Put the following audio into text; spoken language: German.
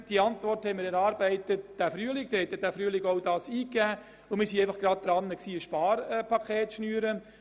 Die Antwort hat der Regierungsrat in diesem Frühling erarbeitet, als die Motion eingereicht wurde, also zu einem Zeitpunkt, als er daran war, ein Sparpaket zu schnüren.